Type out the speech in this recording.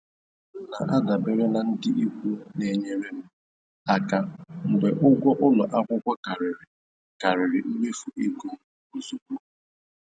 M na-adabere na ndị ikwu na-enyere m aka mgbe ụgwọ ụlọ akwụkwọ karịrị karịrị mmefu ego m ozugbo.